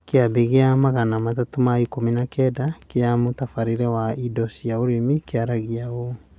Kĩambi gĩa magana matatũ ma ikũmi na kenda kĩa mũtabarĩre wa indo cia ũrĩmi kĩaragia ũũ: